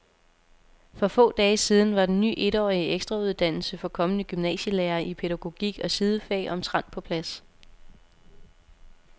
For få dage siden var den ny etårige ekstrauddannelse for kommende gymnasielærere i pædagogik og sidefag omtrent på plads.